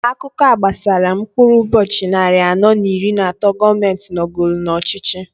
Akụkọa gbasara mkpụrụ ụbọchị nnarị anọọ n'iri n'atọọ gọọmenti a nogolu n'ọchịchị.